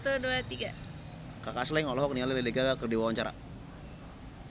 Kaka Slank olohok ningali Lady Gaga keur diwawancara